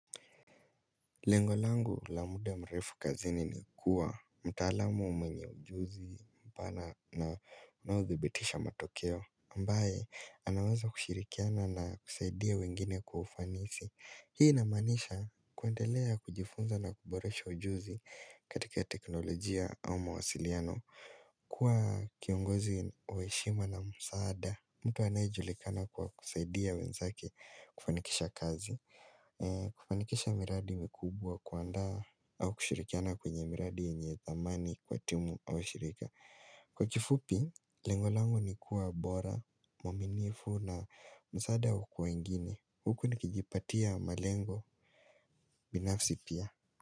Lengo langu la muda mrefu kazini ni kuwa mtaalamu mwenye ujuzi mpana na unaodhibitisha matokeo ambaye anaweza kushirikiana na kusaidia wengine kwa ufanisi hii ina maanisha kuendelea kujifunza na kuboresha ujuzi katika teknolojia au mawasiliano kuwa kiongozi wa heshima na msaada mtu anayejulikana kwa kusaidia wenzake kufanikisha kazi kufanikisha miradi mikubwa kuandaa au kushirikiana kwenye miradi yenye thamani kwa timu au shirika Kwa kifupi, lengo langu ni kuwa bora muaminifu na msaada kwa wengine huku nikijipatia malengo binafsi pia.